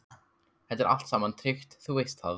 Þetta er allt saman tryggt, þú veist það.